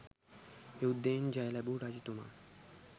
යුද්ධයෙන් ජය ලැබූ රජතුමා